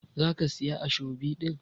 za ki Siya ashobi din?